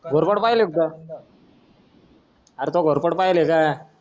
घोरपड पाहिलीय एकदा अरे तू घोरपड पाहीलिहय का